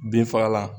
Binfagalan